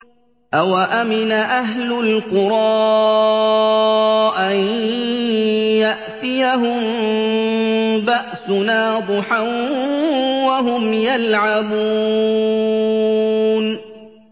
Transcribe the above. أَوَأَمِنَ أَهْلُ الْقُرَىٰ أَن يَأْتِيَهُم بَأْسُنَا ضُحًى وَهُمْ يَلْعَبُونَ